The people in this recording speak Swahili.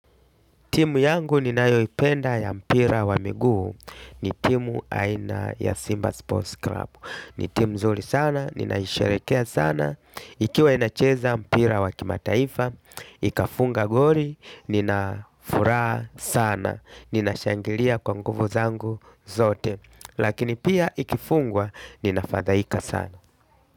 Timu yangu ni nayoipenda ya mpira wa miguu ni timu aina ya Simba Sports Club. Ni timu mzuri sana, ninaisherekea sana. Ikiwa inacheza mpira wa kimataifa, ikafunga goli, ninafuraha sana. Ninashangilia kwa nguvu zangu zote. Lakini pia ikifungwa, ninafadhaika sana.